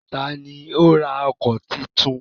Ta ni ó ra ọkọ̀ titun?